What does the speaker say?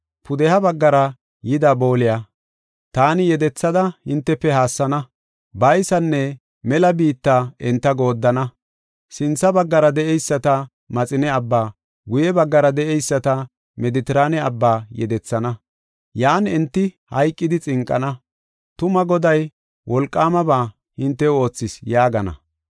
“Pudeha baggara yida booliya, taani yedethada hintefe haassana. Baysanne mela biitta enta gooddana; sintha baggara de7eyisata Maxine Abba, guye baggara de7eyisata Medetiraane Abbaa, yedethana. Yan enti hayqidi xinqana. tuma Goday wolqaamaba hintew oothis” yaagana.